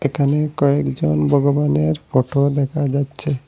এখানে কয়েকজন বগবানের ফটো দেখা যাচ্ছে।